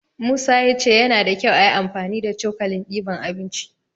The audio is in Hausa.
Musa ya ce yana da kyau ayi amfani da cokalin diban abinci.